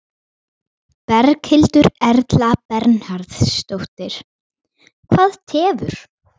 Berghildur Erla Bernharðsdóttir: Hvað tefur?